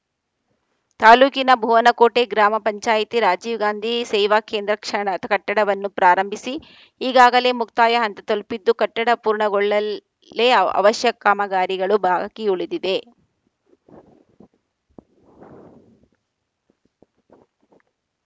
ತಾಲೂಕಿನ ಭುವನಕೋಟೆ ಗ್ರಾಮ ಪಂಚಾಯಿತಿ ರಾಜೀವ್‌ ಗಾಂಧಿ ಸೇವಾ ಕೇಂದ್ರ ಕ್ಷನ್ ಕಟ್ಟಡವನ್ನು ಪ್ರಾರಂಭಿಸಿ ಈಗಾಗಲೇ ಮುಕ್ತಾಯ ಹಂತ ತಲುಪಿದ್ದು ಕಟ್ಟಡ ಪೂರ್ಣಗೊಳ್ಳಲೇ ಅವಶ್ಯ ಕಾಮಗಾರಿಗಳು ಬಾಕಿ ಉಳಿದಿದೆ